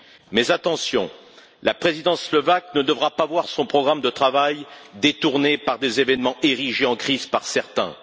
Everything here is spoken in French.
Mais attention, la présidence slovaque ne devra pas voir son programme de travail détourné par des événements érigés en crise par certains.